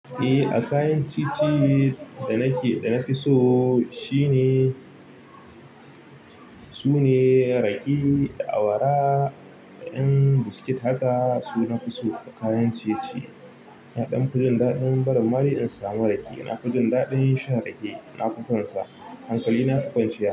Eh, a kayan ciye-ciye da nake da na fi so shine, sune rake, awara da ƴan biskit haka. Su na fi so a kayan ciye-ciye. Na ɗan fi jin daɗin barin ma dai in samu rake. Na fi jin daɗin shan rake, na fi sonsa. Hankali na a kwanciya.